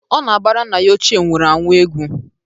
Ọ na-agbara nna ya ochie nwuru anwụ egwu.